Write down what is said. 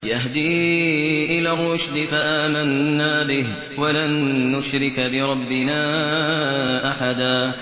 يَهْدِي إِلَى الرُّشْدِ فَآمَنَّا بِهِ ۖ وَلَن نُّشْرِكَ بِرَبِّنَا أَحَدًا